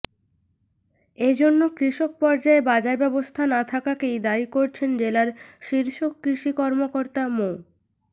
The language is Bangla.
এ জন্য কৃষক পর্যায়ে বাজার ব্যবস্থা না থাকাকেই দায়ী করছেন জেলার শীর্ষ কৃষি কর্মকর্তা মো